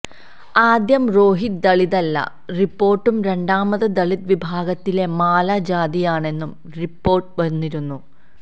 ആദ്യം രോഹിത് ദളിതല്ലന്ന റിപ്പോർട്ടും രണ്ടാമത് ദളിത് വിഭാഗത്തിലെ മാല ജാതിയാണെന്നും റിപ്പോർട്ട് വന്നിരുന്നു